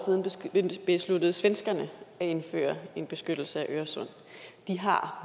siden besluttede svenskerne at indføre en beskyttelse af øresund de har